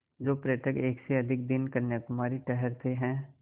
जो पर्यटक एक से अधिक दिन कन्याकुमारी ठहरते हैं